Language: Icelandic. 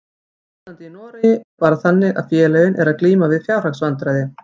Ástandið í Noregi er bara þannig að félögin eru að glíma við fjárhagsvandræði.